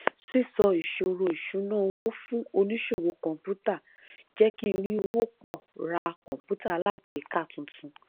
sísọ ìṣòro ìṣúnná owó fún oníṣòwò kọǹpútà jẹ kí n rí owó pọ ra kọǹpútà alágbèéká tuntun